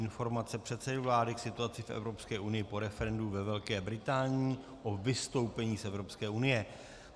Informace předsedy vlády k situaci v Evropské unii po referendu ve Velké Británii o vystoupení z Evropské unie